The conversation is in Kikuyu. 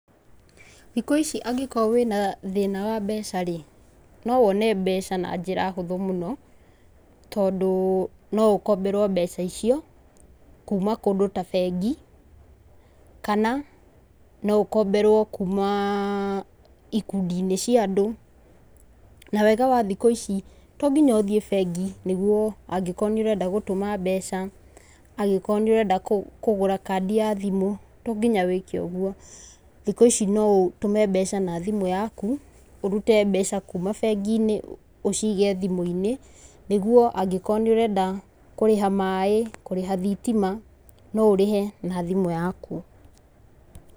Thikũ ici angĩkorwo wĩna thĩna wa mbeca rĩ no wone mbeca na njĩra hũthũ mũno tondũ no ũkomberwo mbeca icio kuma kũndũ ta bengi. Kana no ũkomberwo kuma ikundi~inĩ cia andũ. Na wega wa thĩkũ ici tonginya ũthie bengi nĩgũo angĩkorwo nĩ urenda gũtũma mabeca, angĩkorwo nĩ ũrenda kũgũra kandi ya thimũ tonginya wĩke ũgũo. Thikũ ici no ũtũme mbeca na thimũ yaku, ũrute mbeca kuma bengi~inĩ ũcige thimũ~inĩ nigũo angĩkorwo nĩ ũrenda kũrĩha maaĩ, kũrĩha thitima no ũrĩhe na thimũ yaku.